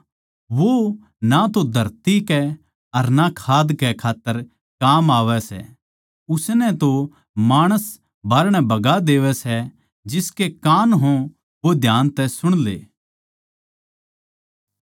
वो ना तो धरती कै अर ना खाद कै खात्तर काम म्ह आवै सै उसनै तो माणस बाहरणै बगा देवै सै जिसके कान हों वो ध्यान तै सुण ले